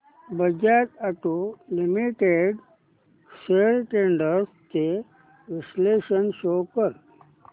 Bajaj auto limited shares trends चे विश्लेषण show कर